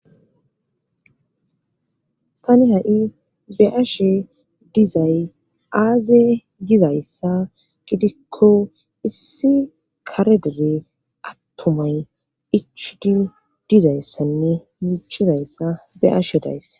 Tani ha7i beashe dizay aaze gizayssa gidikko issi karegebe attumay ichu di dizayssanne muchizayssa beashe dayssa.